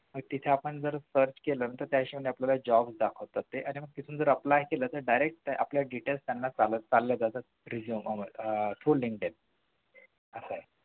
तर तिथे आपण search केलं तर त्या हिशोबाने आपल्याला job दाखवले जातात आणि मग तिथून जर apply केलं तर direct आपले details त्यांना जातात आह through Linkdin